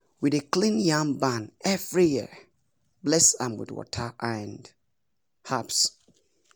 we dey clean yam barn every year bless am with water and herbs